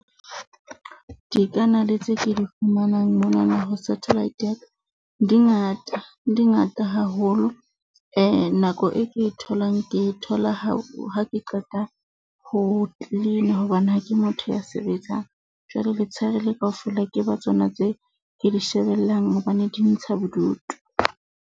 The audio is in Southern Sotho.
Dikanale tse ke di fumanang monana ho satellite ya ka di ngata, di ngata haholo nako e ke tholang. Ke thola ha ha ke qeta ho cleaner hobane ha ke motho ya sebetsang. Jwale letsheare le kaofela, ke ba tsona tse ke di shebellang hobane di ntsha bodutu.